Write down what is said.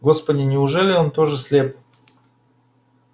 господи неужели он тоже слеп